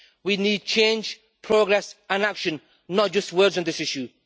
We need change, progress and action, not just words, on this issue.